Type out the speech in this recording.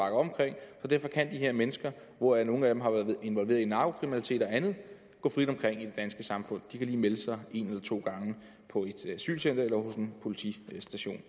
det så kan de her mennesker hvoraf nogle af dem har været involveret i narkokriminalitet og andet gå frit omkring i det danske samfund de kan lige melde sig en eller to gange på et asylcenter eller på en politistation